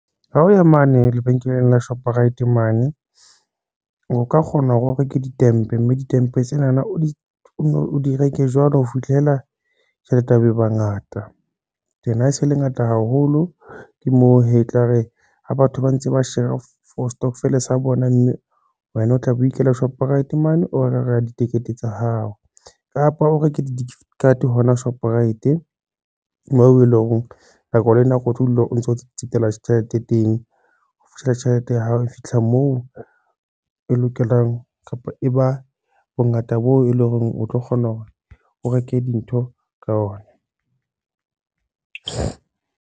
Ha o ya mane lebenkeleng la Shoprite mane, o ka kgona hore o reke di-tempe mme di-tempe tsena na, o di reke jwalo ho fihlela tjhelete ya hao e bangata then ha se le ngata haholo ke moo hee, etlare ha batho ba ntse ba share-a for stockvel sa bona, mme wena o tla bo ikela Shoprite mane, o lo reka ka ditikete tsa hao kapa o reke gift di-card hoka Shoprite.Moo eleng hore nako le nako o tlo dula o ntso tsetela tjhelete teng ho fihlella tjhelete ya hao e fitlha moo e lokelang, kapa e ba bongata bo e leng hore o tlo kgona hore o reke dintho ka ona.